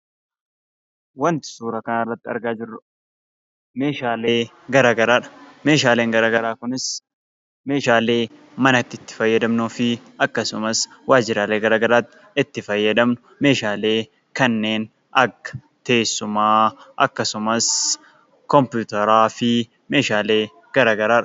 Wanti suuraa kanarratti argaa jirru meeshaalee garaagaraadha. Meeshaaleen garaagaraa kunis meeshaalee manatti itti fayyadamnuu fi akkasumas waajjiraalee garaagaraatti itti fayyadamnu meeshaalee kanneen akka teessumaa akkasumas kompiitaraa meeshaalee garaagaraadha.